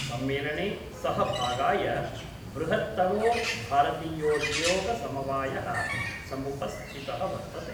सम्मेलने सहभागाय वृहत्तमो भारतीयोद्योगसमवायः समुपस्थितः वर्तते।